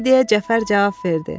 deyə Cəfər cavab verdi.